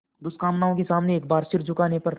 दुष्कामनाओं के सामने एक बार सिर झुकाने पर